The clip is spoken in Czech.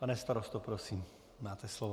Pane starosto, prosím, máte slovo.